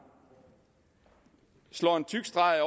slår en tyk streg